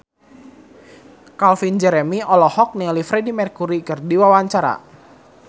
Calvin Jeremy olohok ningali Freedie Mercury keur diwawancara